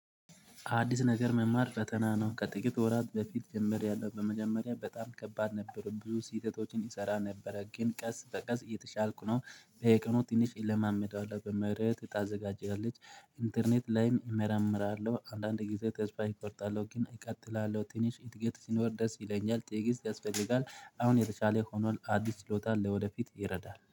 አዲስ ነገር መማር ፈተና ነው። ከጥቂት ወራት በፊት ጀምሪያለሁ ያለው በመጀመሪያ በጣም ከባድ ነበሩ ብዙ ስልተቶችን እሰራ ነበረ ግን ቀስ በቀስ እየተሻልኩ ነው። በየቀኑ ትንሽ ለማመድ አለብህ በምህረት ታዘጋጀለች። ኢንተርኔት ላይም እመረምራለሁ አንዳንድ ጊዜ ተስፋ እቆርጣለሁ ግን እቀጥላለሁ ትንሽ እድገት ሲኖር ድረስ ይለኛል። ጥያቄስ ያስፈልጋል? አሁን የተሻለ ሆኖል አዲስ ችሎታ ለወደፊት ይረዳል